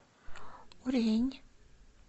урень